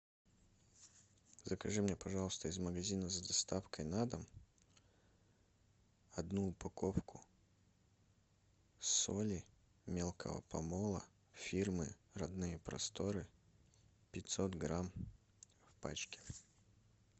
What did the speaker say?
закажи мне пожалуйста из магазина с доставкой на дом одну упаковку соли мелкого помола фирмы родные просторы пятьсот грамм в пачке